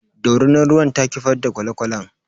Dorinar ruwan ta kifar da kwale kwalen.